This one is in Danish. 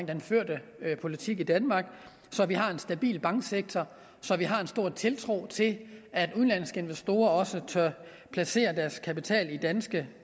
den førte politik i danmark så vi har en stabil banksektor så vi har en stor tiltro til at udenlandske investorer også tør placere deres kapital i danske